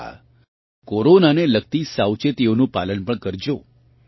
હાં કોરોનાને લગતી સાવચેતીઓનું પાલન પણ કરજો